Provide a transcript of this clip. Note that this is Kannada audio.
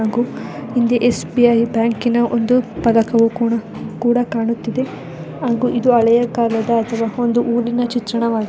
ಹಾಗು ಇಲ್ಲಿ ಎಸ್ ಬಿ ಐ ಬ್ಯಾಂಕಿನ ಒಂದು ಫಲಕವು ಕೂಡ ಕೂಡ ಕಾಣುತ್ತಿದ್ದೆ ಹಾಗೂ ಇದು ಒಂದು ಹಳೆಯ ಕಾಲದ ಊರಿನ ಚಿತ್ರವಾಗಿದೆ.